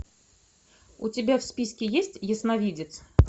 у тебя в списке есть ясновидец